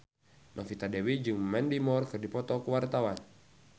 Novita Dewi jeung Mandy Moore keur dipoto ku wartawan